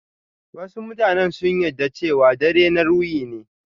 Wasu mutanen sun yarɗa cewa dare na ruhi ne.